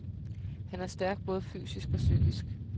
Han er stærk både fysisk og psykisk.